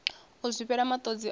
u zwifhela matodzi a ri